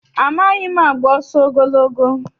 Amaghị m agba ọsọ ogologo.